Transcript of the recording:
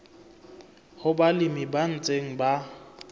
ho balemi ba ntseng ba